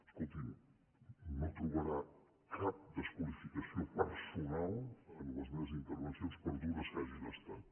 escolti’m no trobarà cap desqualificació personal en les meves intervencions per dures que hagin estat